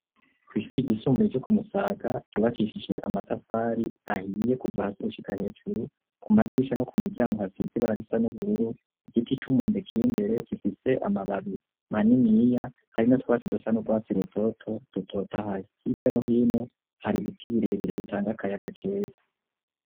Kw'shuri ryisumbuye ryo Kumusaga ryubakishije amatafari ahiye kuva hasi gushika hejuru ku madirisha no ku miryango hasize ibara risa n'ubururu igiti c'umwembe kiri imbere gifise amababi maniniya harimwo utwasi dusa n' urwatsi rutoto dutotoye hirya no hino hari ibiti birebire bitanga akayaga keza.